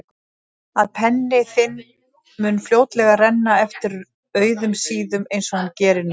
Að penni þinn mun fljótlega renna eftir auðum síðum einsog hann gerir núna.